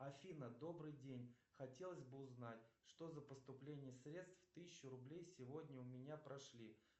афина добрый день хотелось бы узнать что за поступление средств тысяча рублей сегодня у меня прошли